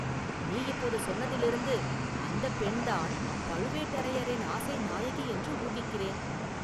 நீ இப்போது சொன்னதிலிருந்து அந்தப் பெண்தான் பழுவேட்டரையரின் ஆசை நாயகி என்று ஊகிக்கிறேன்.